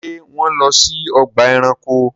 Ṣé wọ́n lọ sí ọgbà ẹranko?